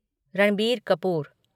Ranbir Kapoor